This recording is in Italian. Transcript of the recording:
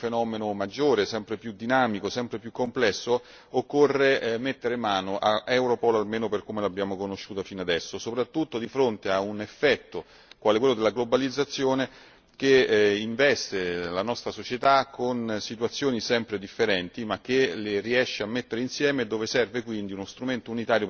Per contrastare questa criminalità, che è un fenomeno sempre maggiore, sempre più dinamico, sempre più complesso, occorre mettere mano a Europol, almeno per come l'abbiamo conosciuta fino adesso, soprattutto di fronte all'effetto della globalizzazione, che investe la nostra società con situazioni sempre differenti